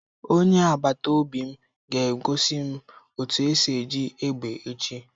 Onye agbata obi m ga egosi m otu esi eji egbe echi